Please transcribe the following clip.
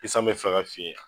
Ni san bɛ fɛ ka fin yan